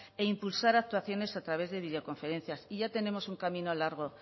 e impulsar actuaciones a través de videoconferencias y ya tenemos un camino largo